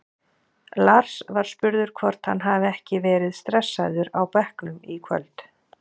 Lars var spurður hvort hann hafi verið stressaður á bekknum í kvöld?